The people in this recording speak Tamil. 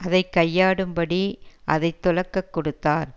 அதை கையாடும்படி அதைத்துலக்கக் கொடுத்தார்